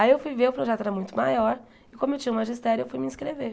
Aí eu fui ver, o projeto era muito maior, e como eu tinha o magistério, eu fui me inscrever.